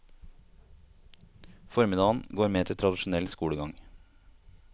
Formiddagen går med til tradisjonell skolegang.